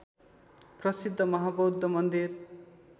प्रसिद्ध महाबौद्ध मन्दिर